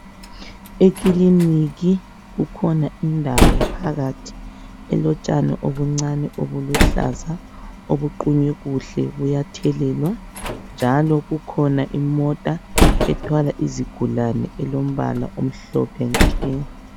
Ekiliniki kukhona indawo phakathi, elotshani obuncane obuluhlaza obuqunywe kuhle kuyathelewa. Njalo kukhona imota ethwala izigulane elombala omhlophe nke.